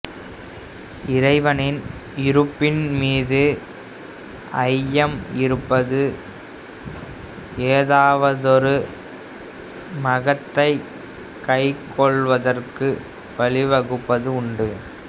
இறைவனின் இருப்பின் மீது ஐயம் இருப்பது ஏதாவதொரு மதத்தைக் கைக்கொள்வதற்கு வழிவகுப்பதும் உண்டு